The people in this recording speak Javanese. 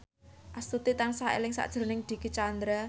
Astuti tansah eling sakjroning Dicky Chandra